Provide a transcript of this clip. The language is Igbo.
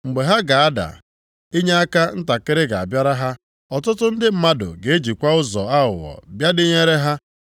Mgbe ha ga-ada, inyeaka ntakịrị ga-abịara ha, ọtụtụ ndị mmadụ ga-ejikwa ụzọ aghụghọ bịa dịnyere ha.